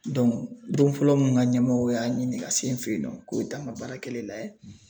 don fɔlɔ mun n ka ɲɛmɔgɔw y'a ɲini ka se n fɛ yen nɔ k'o bɛ taa n ka baarakɛlen layɛ